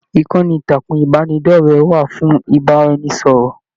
Ìkànnì ìtàkùn ìbánidọ̀rẹ̀ wà fún ìbáraẹnisọ̀rọ̀.